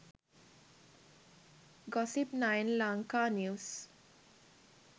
gossip 9 lanka news